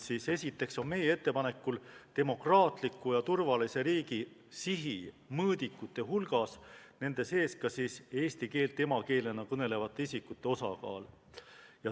Esiteks on meie ettepanekul demokraatliku ja turvalise riigi mõõdikute hulgas ka eesti keelt emakeelena kõnelevate isikute osakaal.